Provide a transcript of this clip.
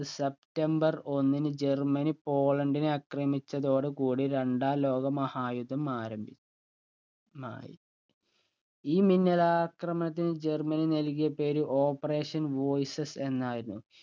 September ഒന്നിന് Germany പോളണ്ടിനെ ആക്രമിച്ചതോടു കൂടി രണ്ടാം ലോക മഹായുദ്ധം ആരംഭിച്ചു മായി ഈ മിന്നലാക്രമണത്തിന് operation voices എന്നായിരുന്നു